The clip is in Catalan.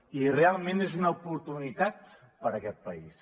i realment és una oportunitat per a aquest país